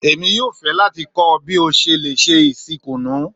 Èmi yóò fẹ́ láti kọ́ ọ bí o ṣe lè se isi kùnú.